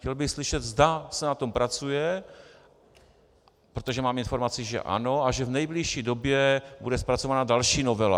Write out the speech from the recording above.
Chtěl bych slyšet, zda se na tom pracuje, protože mám informaci, že ano a že v nejbližší době bude zpracována další novela.